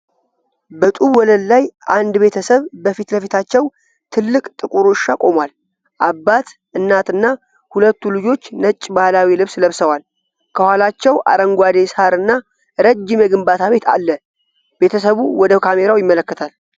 በጡብ ወለል ላይ፣ አንድ ቤተሰብ በፊት ለፊታቸው ትልቅ ጥቁር ውሻ ቆሟል። አባት፣ እናት እና ሁለቱ ልጆች ነጭ ባህላዊ ልብስ ለብሰዋል። ከኋላቸው አረንጓዴ ሣር እና ረጅም የግንባታ ቤት አለ። ቤተሰቡ ወደ ካሜራው ይመለከታሉ።